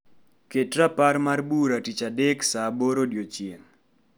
Ket rapar mar bura tich adek tich adek saa aboro odiechieng'